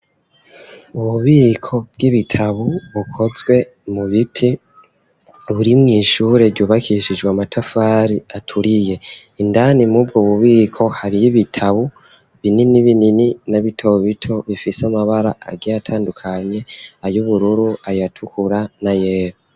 Ububiko bw'ibitabo bukozwe mu biti buri mw'ishure ryubakishijwe amatafari aturiye. Indani muri ubwo bubiko hariyo ibitabo binini binini na bito bito bifise amabara agiye atandukanye, ay'ubururu, ayatukura n'ayera.